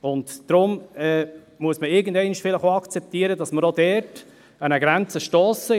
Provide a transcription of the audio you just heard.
Deshalb muss man irgendwann vielleicht auch akzeptieren, dass wir auch dort an eine Grenze stossen.